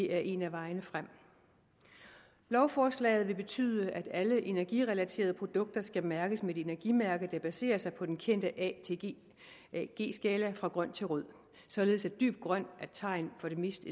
er en af vejene frem lovforslaget vil betyde at alle energirelaterede produkter skal mærkes med et energimærke der baserer sig på den kendte a a g skala fra grøn til rød således at dyb grøn er tegn på det mest